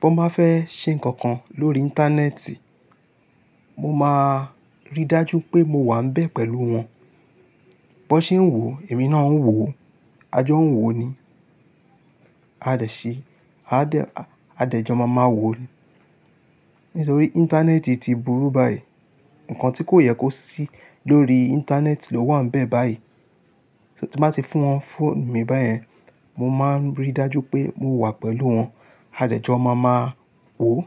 B'ọ́n bá fẹ́ ṣe nǹkan kan lórí íńtánẹ́ẹ̀tì, mo máa rí dájú pé mo wà ńbẹ̀ pẹ̀lú wọn. B'ọ́n ṣe ń wò ó, èmi náà ń wò ó, a jọ ń wò ó ni. A dẹ̀ ṣì, aá dẹ̀, a dẹ̀ jọ máa máa wò ó ni. Nítorí íńtánẹ́ẹ̀tì ti burú báyìí, nǹkan tí kò yẹ kó sí lórí íńtánẹ́ẹ̀tì ló wà ńbẹ̀ báyìí. Tí n bá ti fún wọn ń phone mi báyẹn, mo máa ń rí dájú pé mo wà pẹ̀lú wọn, a dẹ̀ jọ máa máa wò ó.